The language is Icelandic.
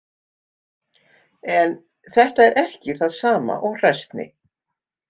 En þetta er ekki það sama og hræsni.